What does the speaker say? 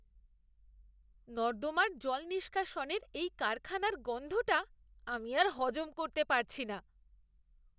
নর্দমার জল নিষ্কাশনের এই কারখানার গন্ধটা আমি আর হজম করতে পারছি না!